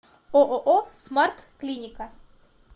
ооо смарт клиника